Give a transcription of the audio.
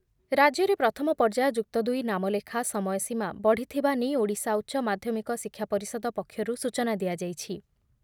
ରାଜ୍ୟରେ ପ୍ରଥମ ପର୍ଯ୍ୟାୟ ଯୁକ୍ତଦୁଇ ନାମଲେଖା ସମୟ ସୀମା ବଢିଥିବା ନେଇ ଓଡିଶା ଉଚ୍ଚ ମାଧ୍ୟମିକ ଶିକ୍ଷା ପରିଷଦ ପକ୍ଷରୁ ସୂଚନା ଦିଆଯାଇଛି ।